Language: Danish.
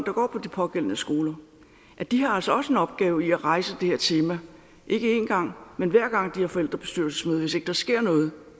der går på de pågældende skoler at de altså også har en opgave i at rejse det her tema ikke en gang men hver gang de har forældrebestyrelsesmøde hvis ikke der sker noget